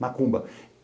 Macumba.